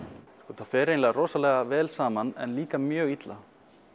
þetta fer eiginlega rosalega vel saman en líka mjög illa